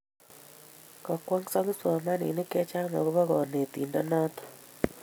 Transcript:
Kokwong'so kipsomaninik chechang' akopo kanetindet notok